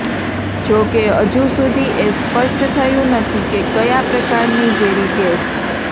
જો કે હજુ સુધી એ સ્પષ્ટ થયું નથી કે કયા પ્રકારની ઝેરી ગેસ